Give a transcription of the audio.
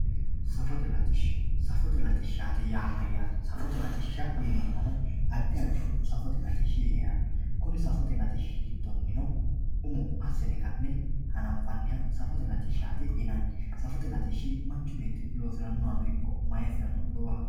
safote latishsha safote latishshaati yaa mayaate safote latishsha yineemohu addi addihu safote latishshi heeranno kuni safote latishshi giddonino umo asine ka'ne hananfanniha safote latishshati yinanni safote latishshi manchu beetti loosiranohano ikko maayiisirano umoho